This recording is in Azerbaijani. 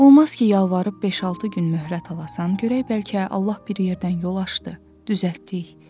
Olmaz ki, yalvarıb beş-altı gün möhlət alasan, görək bəlkə Allah bir yerdən yol açdı, düzəltdik.